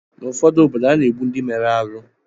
N’obodo ụfọdụ, a na-egbu ndị mere arụ